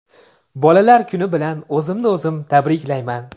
Bolalar kuni bilan o‘zimni o‘zim tabriklayman.